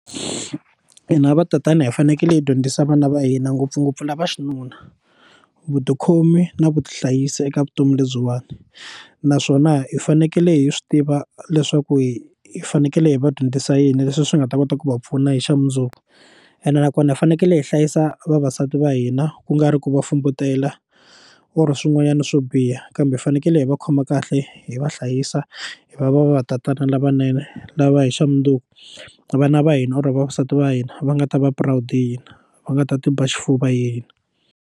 Hi na vatatana hi fanekele hi dyondzisa vana va hina ngopfungopfu lava xinuna vo tikhomi na vutihlayisi eka vutomi lebyiwani naswona hi fanekele hi swi tiva leswaku hi hi fanekele hi va dyondzisa yini leswi swi nga ta kota ku va pfuna hi xa mundzuku ene nakona hi fanekele hi hlayisa vavasati va hina ku nga ri ku va fumbutela or swin'wanyana swo biha kambe hi fanekele hi hi va khoma kahle hi va hlayisa hi va va va va tatana lavanene lava hi xa mundzuku vana va hina or vavasati va hina va nga ta va proud hi hina va nga ta ti ba xifuva hi yini.